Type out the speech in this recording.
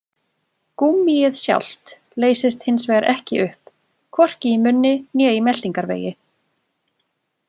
Gúmmíið sjálft leysist hins vegar ekki upp, hvorki í munni né í meltingarvegi.